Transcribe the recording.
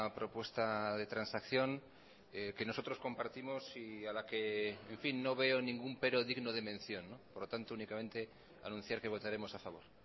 propuesta de transacción que nosotros compartimos y a la que en fin no veo ningún pero digno de mención por lo tanto únicamente anunciar que votaremos a favor